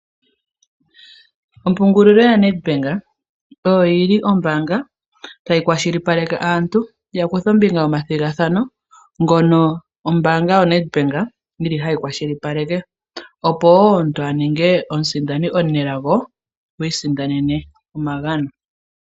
Ompungulilo yaNedbank oyo yili ombaanga tayi kwashilipaleke aantu ya kuthe ombinga nomathigathano, ngono ombaanga yaNedbank yili hayi kwashilipaleke opo omuntu aninge omusindani omunelago , isindanene omagano.